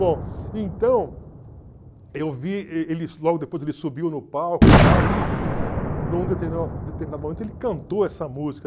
Bom, então, eu vi logo depois ele subiu no palco e tal, num determinado momento ele cantou essa música.